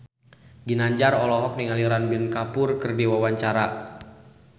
Ginanjar olohok ningali Ranbir Kapoor keur diwawancara